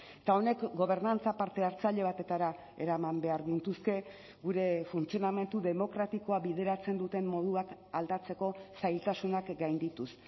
eta honek gobernantza parte hartzaile batetara eraman behar gintuzke gure funtzionamendu demokratikoa bideratzen duten moduak aldatzeko zailtasunak gaindituz